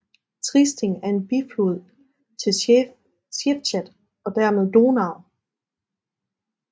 Triesting er en biflod til Schwechat og dermed Donau